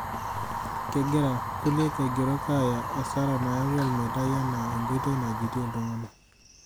Kegira kulie aigerok aaya asara nayawua olmeitai enaa enkoitoi najutie iltung'ana.